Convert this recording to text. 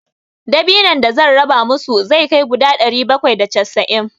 Dabinon da zan raba musu zai kai guda ɗari bakwai da casa'in.